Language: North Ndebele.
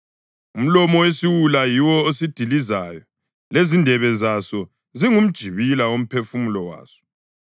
Umlomo wesiwula yiwo osidilizayo, lezindebe zaso zingumjibila womphefumulo waso.